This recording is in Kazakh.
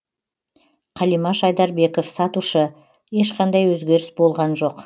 қалимаш айдарбеков сатушы ешқандай өзгеріс болған жоқ